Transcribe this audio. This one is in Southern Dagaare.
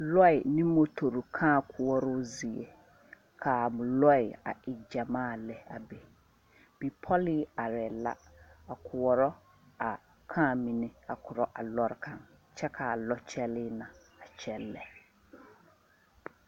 Lɔɛ ane motore kaa koɔroo zie la ka a lɔɛ e gyɛmaa lɛ a be bipɔlii arɛɛ la a koɔrɔ a kaa mine a korɔ a lɔɔre kaŋ kyɛ ka a lɔkyɛlɛɛ na a kyɛllɛ.